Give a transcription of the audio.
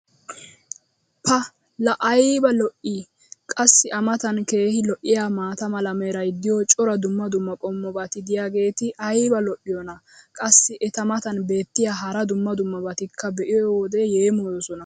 pa laa ayba lo'ii! qassi a matan keehi lo'iyaa maata mala meray diyo cora dumma dumma qommobati diyaageti ayba lo'iyoonaa? qassi eta matan beetiya hara dumma dummabatikka be'iyoode yeemmoyoosona.